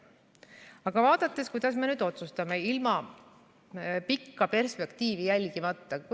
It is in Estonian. Aga vaatame seda, kuidas me otsustame ilma pikka perspektiivi jälgimata.